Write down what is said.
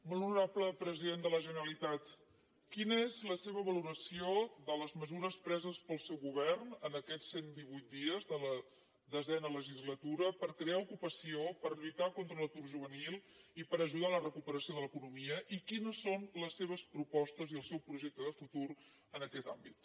molt honorable president de la generalitat quina és la seva valoració de les mesures preses pel seu govern en aquests cent divuit dies de la desena legislatura per crear ocupació per lluitar contra l’atur juvenil i per ajudar en la recuperació de l’economia i quines són les seves propostes i el seu projecte de futur en aquest àmbit